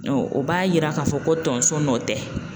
o b'a yira k'a fɔ ko tonso nɔ tɛ.